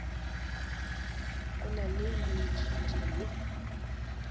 go na le moithuti yo